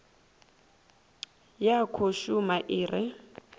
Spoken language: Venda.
ya khou shuma i re